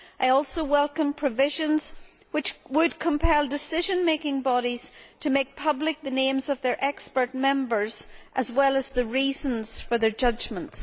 I also welcome provisions which would compel decision making bodies to make public the names of their expert members, as well as the reasons for their judgments.